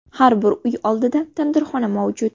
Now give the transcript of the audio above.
Har bir uy oldida tandirxona mavjud.